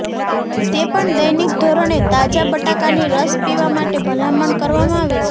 તે પણ દૈનિક ધોરણે તાજા બટાકાની રસ પીવા માટે ભલામણ કરવામાં આવે છે